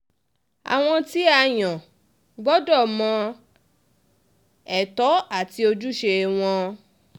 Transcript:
àwọn tí a yàn gbọ́dọ̀ mọ ètò àti ojúṣe wọn